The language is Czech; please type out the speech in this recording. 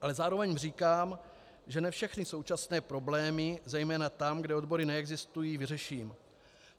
Ale zároveň říkám, že ne všechny současné problémy, zejména tam, kde odbory neexistují, vyřeším.